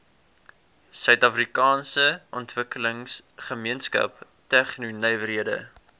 suidafrikaanse ontwikkelingsgemeenskap tegnonywerhede